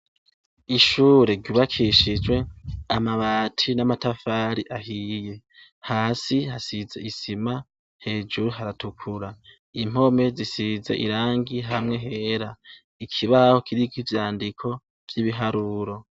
Ushure ryubakishijwe amabati n'amatafari ahiye. Hasi hasize isima, hejuru haratukura. Impome zisize irangi hamwe hera. Ikibaho kiriko ivyandiko vy'ibiharuro.